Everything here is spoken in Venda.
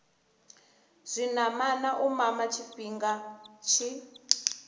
zwinamana u mama tshifhinga tshi